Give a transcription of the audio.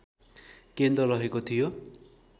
केन्द्र रहेको थियो